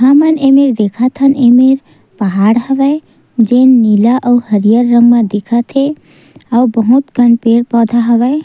हमन एमे देखत हन एमे पहाड़ हवय जे नीला और हरियर रंग में दिखथे अउ बहुत कम पेड़-पौधा हवय।